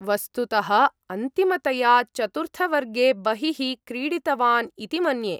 वस्तुतः अन्तिमतया चतुर्थवर्गे बहिः क्रीडितवान् इति मन्ये।